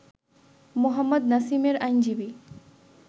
মোহাম্মদ নাসিমের আইনজীবী